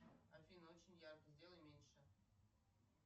афина очень ярко сделай меньше